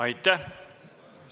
Aitäh!